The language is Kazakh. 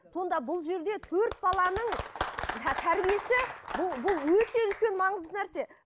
сонда бұл жерде төрт баланың тәрбиесі бұл бұл өте үлкен маңызды нәрсе